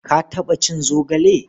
Ka taɓa cin zogale?